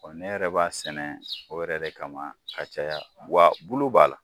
ne yɛrɛ b'a sɛnɛ o yɛrɛ de kama ka caya wa bulu b'a la.